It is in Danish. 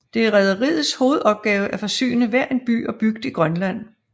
Det er rederiets hovedopgave at forsyne hver en by og bygd i Grønland